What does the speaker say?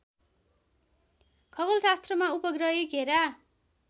खगोलशास्त्रमा उपग्रही घेरा